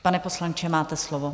Pane poslanče, máte slovo.